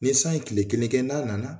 Ni san ye kile kɛ n'a nana